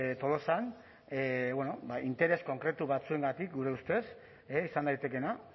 tolosan interes konkretu batzuengatik gure ustez izan daitekeena